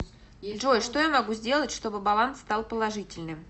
джой что я могу сделать чтобы баланс стал положительным